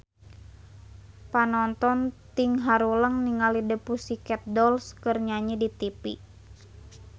Panonton ting haruleng ningali The Pussycat Dolls keur nyanyi di tipi